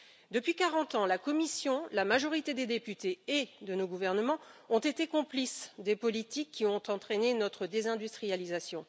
Depuis 40 ans, la Commission, la majorité des députés et de nos gouvernements ont été complices des politiques qui ont entraîné notre désindustrialisation.